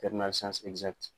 Tɛriminali siyansi ɛkizati